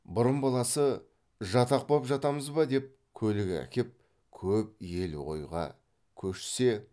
бұрын баласы жатақ боп жатамыз ба деп көлік әкеп көп ел ойға көшсе